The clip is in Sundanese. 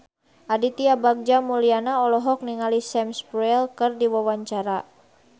Aditya Bagja Mulyana olohok ningali Sam Spruell keur diwawancara